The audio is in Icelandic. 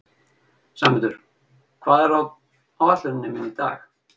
Sæmundur, hvað er á áætluninni minni í dag?